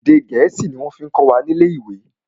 Èdè gẹ̀ẹ́sì ni wọ́n fí kọ́ wa ni ilé ìwé.